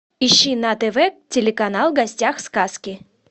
ищи на тв телеканал в гостях сказки